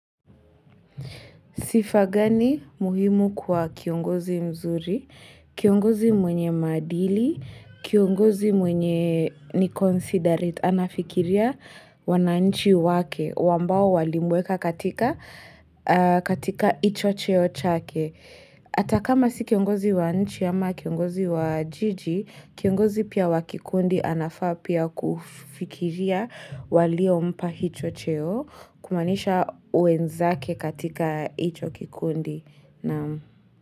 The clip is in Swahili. Sifa gani muhimu kwa kiongozi mzuri, kiongozi mwenye maadili, kiongozi mwenye ni considerate, anafikiria wananchi wake, wambao walimweka katika hicho cheo chake. Hata kama si kiongozi wa nchi ama kiongozi wa jiji, kiongozi pia wa kikundi anafaa pia kufikiria waliompa hicho cheo kumaanisha wenzake katika hicho kikundi.